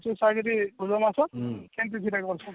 ଭୋଦୁଅ ମାସ ସେମଟି ସେଟା କରୁଛନ